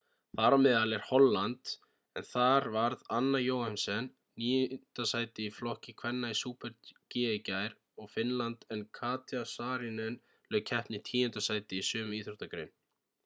þar á meðal er holland en þar varð anna jochemsen 9. sæti í flokki kvenna í super-g í gær og finnland en katja saarinen lauk keppni í 10. sæti í sömu íþróttagrein